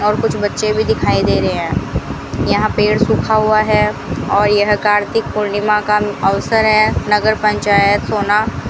और कुछ बच्चे भी दिखाई दे रहे हैं यहां पेड़ सुखा हुआ है और यह कार्तिक पूर्णिमा का अवसर है नगर पंचायत सोना।